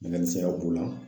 u ma.